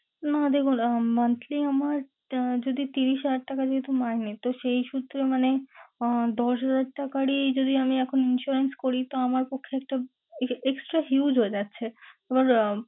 না দেবো না। আহ Monthly আমার যদি ত্রিশ হাজার টাকা যেহেতু মাইনে তো সেই সূত্রে মানে আহ দশ হাজার টাকারই যদি আমি এখন insurance করি তো আমার পক্ষে একটা extra use হয়ে যাচ্ছে ।